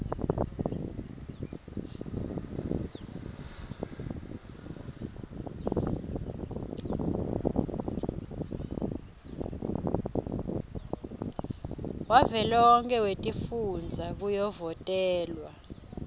wavelonkhe wetifundza kuyovotelwa